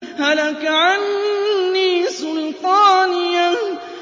هَلَكَ عَنِّي سُلْطَانِيَهْ